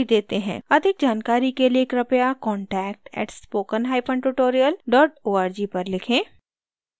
अधिक जानकारी के लिए कृपया contact @spokentutorial org पर लिखें